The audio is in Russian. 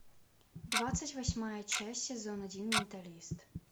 двадцать восьмая часть сезон один менталист